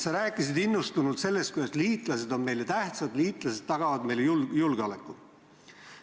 Sa rääkisid innustunult sellest, et liitlased on meile tähtsad, liitlased tagavad meie julgeoleku.